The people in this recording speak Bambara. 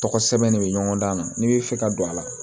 Tɔgɔ sɛbɛn ne bɛ ɲɔgɔn dan na n'i bɛ fɛ ka don a la